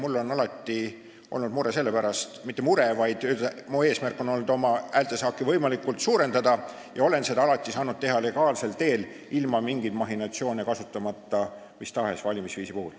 Mul on alati olnud eesmärk oma häältesaaki võimalikult suurendada ja olen seda alati saanud teha legaalsel teel, ilma mingeid mahhinatsioone kasutamata, seda mis tahes valimisviisi puhul.